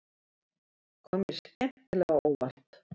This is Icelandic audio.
Kom mér skemmtilega á óvart